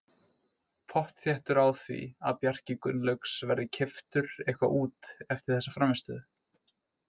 Pottþéttur á því að Bjarki Gunnlaugs verði keyptur eitthvað út eftir þessa frammistöðu.